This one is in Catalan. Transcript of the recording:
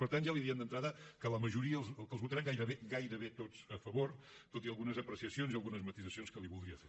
per tant ja li diem d’entrada que els votarem gairebé gairebé tots a favor tot i algunes apreciacions i algunes matisacions que li voldria fer